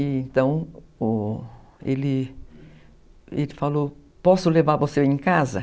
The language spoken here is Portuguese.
Então, ele falou, posso levar você em casa?